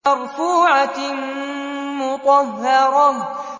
مَّرْفُوعَةٍ مُّطَهَّرَةٍ